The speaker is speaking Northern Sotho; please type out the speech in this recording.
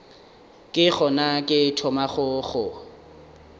ke gona ke thomago go